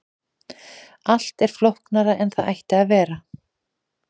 allt er flóknara en það ætti að vera